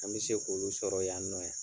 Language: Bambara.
An bɛ se k'olu sɔrɔ yan nɔ yan.